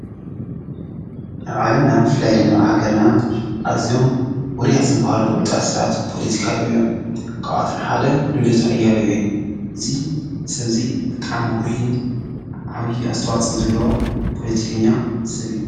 አብ ዓለምና ብፍላይ ድማ አብ ሃገርና ኣዝዮም ዉሩያት ዝበሃሉ ፍሉጣት ሰባት ፖለቲካ ኣለዉ እዮም። ካብኣቶም ሐደ ልደቱ ኣያሌው እዩ። እዚ ሰብ እዚ ብጣዕሚ ዉሩይን ዓብዪ ኣስተዋፅኦ ዘለዎ ፖለቲከኛ ሰብ እዩ።